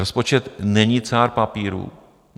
Rozpočet není cár papíru.